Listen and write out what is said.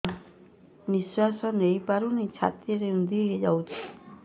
ନିଶ୍ୱାସ ନେଇପାରୁନି ଛାତି ରୁନ୍ଧି ଦଉଛି